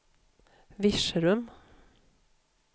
Virserum